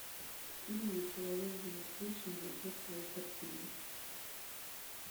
фильм где человек живет вечно за счет своей картины